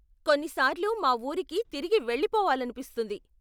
కొన్నిసార్లు మా ఊరికి తిరిగి వెళ్ళిపోవాలనిపిస్తుంది.